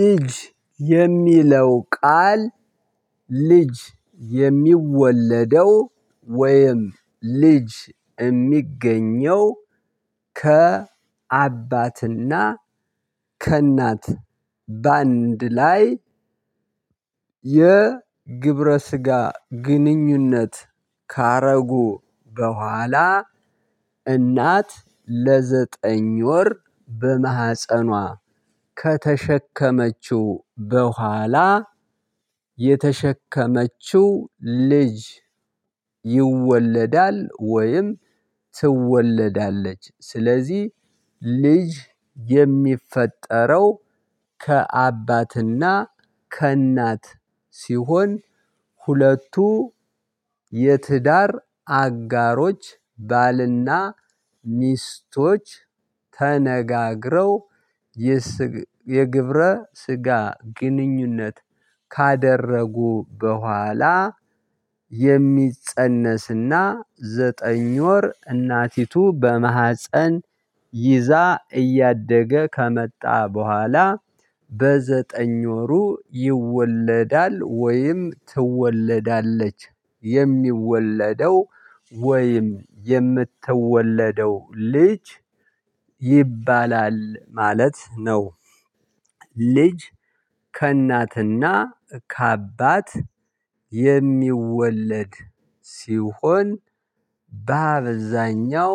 ልጅ የሚለው ቃል ልጅ የሚወለደው ወይም ልጅ እሚገኘው ከ አባትና ከእናት በአንድ ላይ። የግብረ ስጋ ግንኙነት ካደረጉ በኋላ እናት ለዘጠኝ ወር በማህፀኗ ከተሸከመችው ቡሃላ የተሸከመችው ልጅ ይወለዳል ወይም ትወለዳለች። ስለዚህ ልጅ የሚፈጠረው ከአባትና ከእናት ሲሆን ሁለቱ የትዳር አጋሮች ባልና ሚስቶች ተነጋግረው የግብረ ስጋ ግንኙነት ካደረጉ ቡሃላ የሚፀነስና ዘጠኝ ወር እናቲቱ በማህፀን ይዛ እያደገ ከመጣ ቡሃላ በዘጠኝ ወሩ ይወለዳል ወይም ትወለዳለች የሚወለደው ወይም የምትወለደው ልጅ ይባላል ማለት ነው። ልጅ ከእናትና ከአባት የሚወለድ ሲሆን በአብዛኛው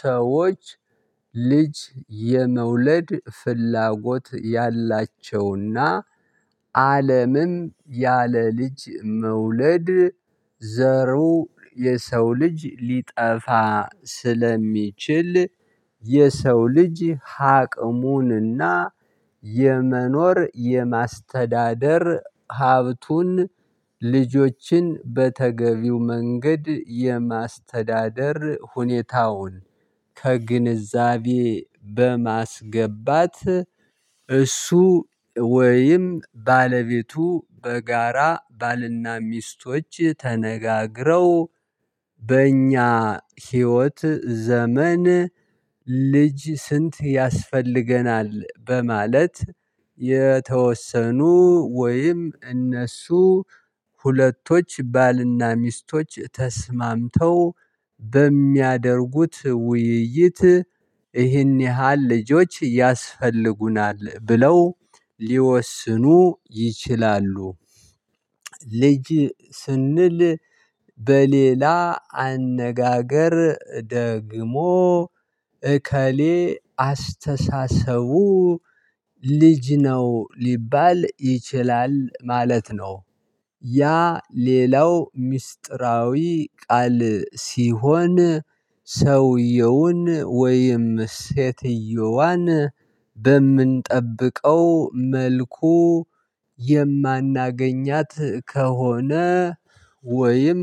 ሰዎች ልጅ የመውለድ ፍላጎት ያላቸውና አለምም ያለ ልጅ መውለድ ዘሩ የሰው ልጅ ሊጠፋ ስለሚችል የሰው ልጅ አቅሙንና የመኖር የማስተዳደር ሀብቱን ልጆችን በተገቢው መንገድ የማስተዳደር ሁኔታውን። ከግንዛቤ በማስገባት እሱ ወይም ባለቤቱ በጋራ ባልና ሚስቶች ተነጋግረው በእኛ ህይወት ዘመን ልጅ ስንት ያስፈልገናል በማለት የተወሰኑ ወይም እነሱ ሁለቶች ባልና ሚስቶች ተስማምተው በሚያደርጉት ውይይት ይህን ያህል ልጆች ያስፈልጉናል ብለው ሊወስኑ ይችላሉ። ልጅ ስንል በሌላ አነጋገር ደግሞ እከሌ አስተሳሰቡ ልጅ ነው ሊባል ይችላል ማለት ነው። ያ ሌላው ምስጢራዊ ቃል ሲሆን ሰውየውን ወይም ሴትየዋን በእምንጠብቀው መልኩ የእማናገኛት ከሆነ ወይም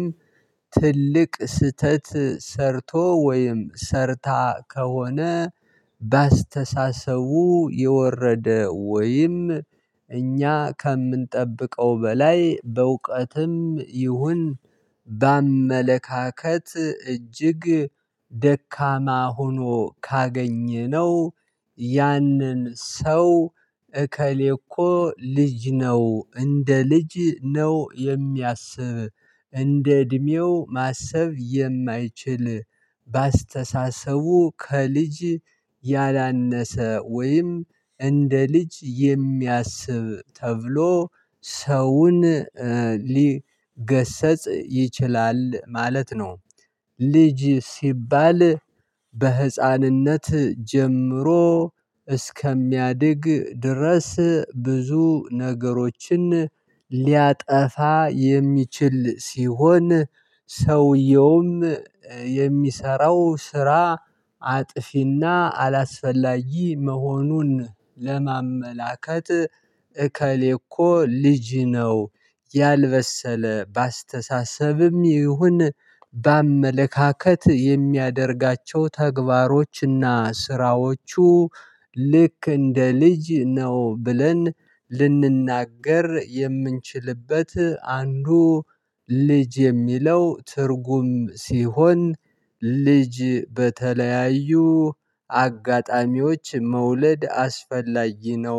ትልቅ ስህተት ሰርቶ ወይም ሰርታ ከሆነ በአስተሳሰቡ የወረደ ወይም እኛ ከእምንጠብቀው በላይ በዕውቀትም ይሁን በአመለካከት እጅግ ደካማ ሆኖ ካገኘነው ያንን ሰው እከሌ እኮ ልጅ ነው እንደ ልጅ ነው የሚያስብ እንደ እድሜው ማሰብ የማይችል በአስተሳሰቡ ከልጅ ያላነሰ ወይም እንደ ልጅ የሚያስብ ተብሎ ሰውን ሊገሰጽ ይችላል ማለት ነው። ልጅ ሲባል በህፃንነት ጀምሮ እስከሚያድግ ድረስ ብዙ ነገሮችን ሊያጠፋ የሚችል ሲሆን ሰውየውም የሚሰራው ስራ አጥፊና አላስፈላጊ መሆኑን ለማመላከት እከሌ እኮ ልጅ ነው። ያልበሰለ በአስተሳሰብም ይሁን በአመለካከት የሚያደርጋቸው ተግባሮችና ስራዎቹ ልክ እንደ ልጅ ነው ብለን ልንናገር የምንችልበት አንዱ ልጅ የሚለው ትርጉም ሲሆን ልጅ በተለያዩ አጋጣሚዎች መውለድ አስፈላጊ ነው